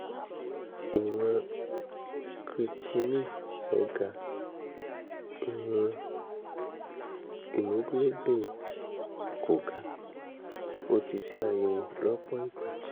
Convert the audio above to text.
ìwọ̀n creatinine rẹ̀ ga ìwọ̀n hemoglobin rẹ̀ kò ga ó ti ṣe àyẹ̀wò lọ́pọ̀ ìgbà